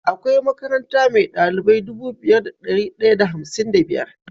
Akwai makaranta me dalilbai Dubu biyu da dari daya da hamsin da biyar